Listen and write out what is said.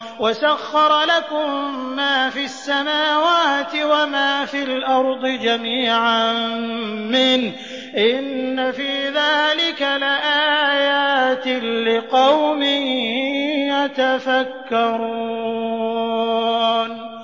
وَسَخَّرَ لَكُم مَّا فِي السَّمَاوَاتِ وَمَا فِي الْأَرْضِ جَمِيعًا مِّنْهُ ۚ إِنَّ فِي ذَٰلِكَ لَآيَاتٍ لِّقَوْمٍ يَتَفَكَّرُونَ